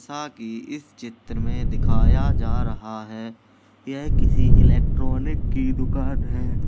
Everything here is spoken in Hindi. सा की इस चित्र में दिखाया जा रहा है यह किसी एलेक्ट्रोनिक की दुकान है।